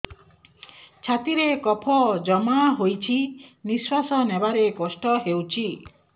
ଛାତିରେ କଫ ଜମା ହୋଇଛି ନିଶ୍ୱାସ ନେବାରେ କଷ୍ଟ ହେଉଛି